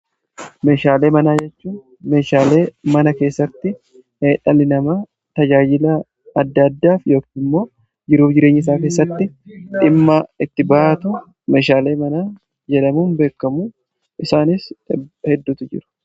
meeshaalee manaa jechuun meeshaalee mana keessatti heddumminaan tajaajila adda addaaf yookimmoo jiruu jireenya isaa keessatti dhimmaa itti ba'atu meshaalee mana jedhamuun beekamu. isaanis hedduutu jiru.